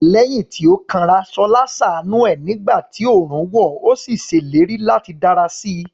Lẹ́yìn tí ó kanra, Ṣọlá ṣàánú ẹ̀ nígbà tí oòrùn wọ̀, ó sì ṣèlérí láti dára sí i.